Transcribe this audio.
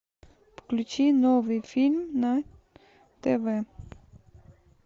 включи новый фильм на тв